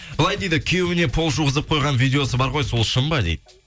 былай дейді күйеуіне пол жуғызып қойған видеосы бар ғой сол шын ба дейді